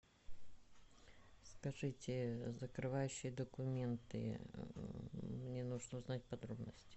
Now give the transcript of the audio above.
скажите закрывающие документы мне нужно узнать подробности